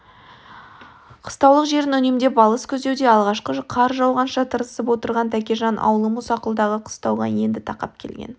қыстаулық жерін үнемдеп алыс күздеуде алғашқы қар жауғанша тырысып отырған тәкежан аулы мұсақұлдағы қыстауға енді тақап келген